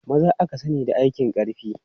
Maza aka sani da aikin ƙarfi.